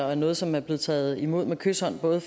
og noget som er blevet taget imod med kyshånd af både